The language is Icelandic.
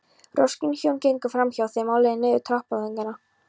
Roskin hjón gengu framhjá þeim á leið niður tappatogarann.